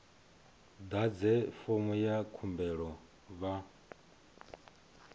ḓadze fomo ya khumbelo vha